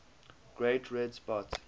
great red spot